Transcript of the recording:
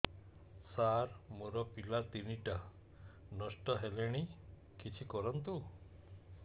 ସାର ମୋର ପିଲା ତିନିଟା ନଷ୍ଟ ହେଲାଣି କିଛି କରନ୍ତୁ